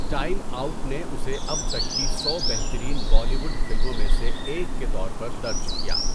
Time Out نے اسے اب تک کی سو بہترین بالی ووڈ فلموں میں سے ایک کے طور پر درج کیا۔